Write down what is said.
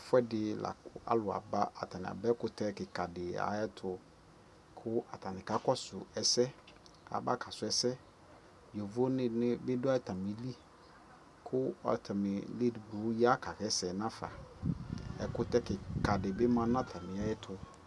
Ɛfuɛdi la kʋ alʋ aba, atani aba ɛkʋtɛ kika dι ayʋɛtu kʋ atani kakɔsu ɛsɛ aba kasʋ ɛsɛ Yovo dι nι dʋ atamilι kʋ atani edigbo ya kawasɛ nafa Ɛkʋtɛ kikia dι bι ma nʋ atami ɛtu